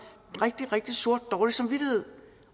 rigtig rigtig sort og dårlig samvittighed